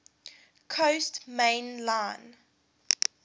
coast main line